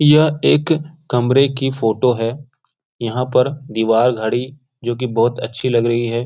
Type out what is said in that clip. यह एक कमरे की फोटो है यहाँ पर दीवार घड़ी जो कि बहुत अच्छी लग रही है।